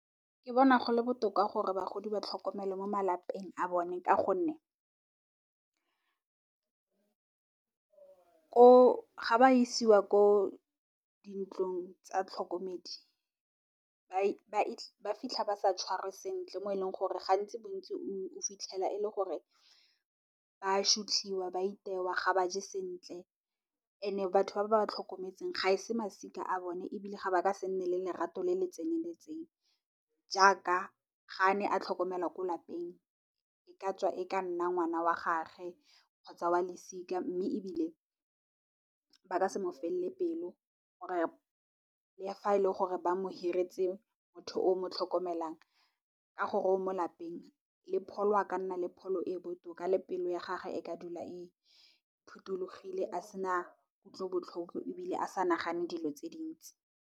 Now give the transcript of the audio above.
Ke bona gole botoka gore bagodi ba tlhokomelwe mo malapeng a bone ka gonne ga ba isiwa ko dintlong tsa tlhokomedi ba fitlha ba sa tshwarwe sentle mo e leng gore gantsi, bontsi o fitlhela e le gore ba sotliwa ba itewa ga ba je sentle and batho ba ba tlhokometseng ga e se masika a bone ebile ba ka se nne le lerato le le tseneletseng jaaka ga ne a tlhokomelwa ko lapeng e ka tswa e ka nna ngwana wa gagwe, kgotsa wa losika. Mme, ebile ba ka se mo felele pelo le fa e le gore ba mohiretse motho o mo tlhokomelang ka gore o mo lapeng le pholo a ka nna le pholo e botoka le pelo ya gage e ka dula e phothulogile a sena kutlobotlhoko ebile a sa nagane dilo tse dintsi.